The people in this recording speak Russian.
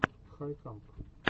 хайп камп